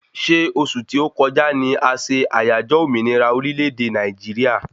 Ṣé osù tí o kọjá ni a se àyájọ́ òmìnira orílè-èdè Nàìjíríà?